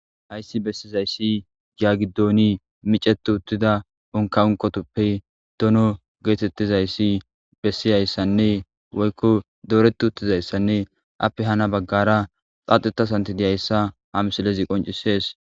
ayssi bessizayssi gaagidooni miceti uttida onka unkotoppe dono geetettizayssi bessiyayssanne woykko dooreti uttizayssanne appe hana baggara xaaxetasanti diyayssa ha misilezi qoncisees